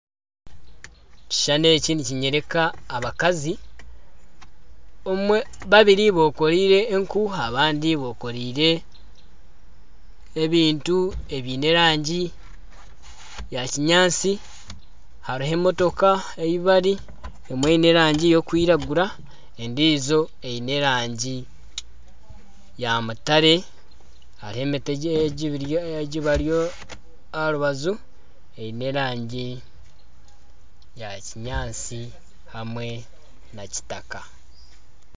Ekishushani eki nikinyoreka abakazi babiri bekoreire enku abandi bekoreire ebintu ebiine erangi ya kinyaatsi hariho emotoka ahu bari emwe eine erangi y'okwiragura endiijo eine erangi ya mutare hariho emiti ebari aha rubaju eine erangi ya kinyaatsi hamwe na kitaka.